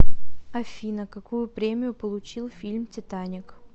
афина какую премию получил фильм титаник